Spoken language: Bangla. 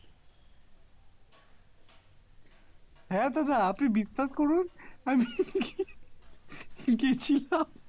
হ্যাঁ দাদা আপনি বিশ্বাস করুন আমি গেছিলাম